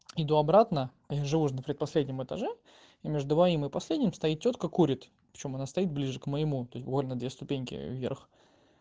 иду обратно я же живу на последнем этаже и между моим и последним стоит тётка курит при чём она стоит ближе к моему буквально две ступеньки вверх